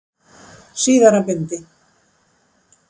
Síðara bindi.